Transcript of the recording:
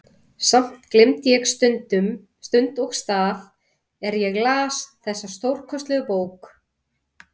Samt gleymdi ég stund og stað er ég las þessa stórkostlegu bók.